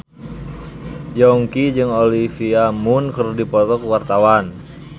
Yongki jeung Olivia Munn keur dipoto ku wartawan